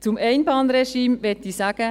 Zum Einbahnregime möchte ich sagen: